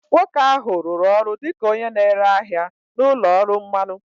Nwoke ahụ rụrụ ọrụ dị ka onye na-ere ahịa na ụlọ ọrụ mmanụ